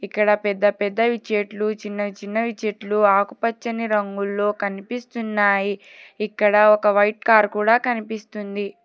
ఇక్కడ పెద్ద పెద్దవి చెట్లు చిన్నచిన్నవి చెట్లు ఆకుపచ్చని రంగుల్లో కనిపిస్తున్నాయి ఇక్కడ ఒక వైట్ కార్ కూడా కనిపిస్తుంది.